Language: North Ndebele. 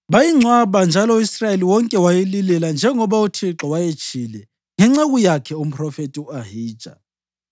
Bayingcwaba njalo, u-Israyeli wonke wayililela njengoba uThixo wayetshilo ngenceku yakhe umphrofethi u-Ahija.